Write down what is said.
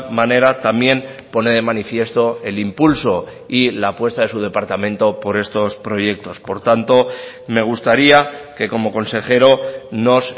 manera también pone de manifiesto el impulso y la apuesta de su departamento por estos proyectos por tanto me gustaría que como consejero nos